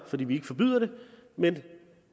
fordi vi ikke forbyder det men